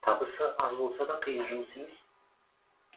табысы аз болса да қиын жұмыс емес